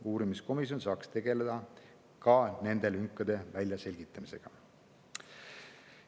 Uurimiskomisjon saaks tegeleda ka nende lünkade väljaselgitamisega.